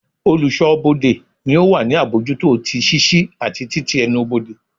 Oluso-bode ni o wa ni abojuto ti ṣiṣi ati tití ẹnubodè.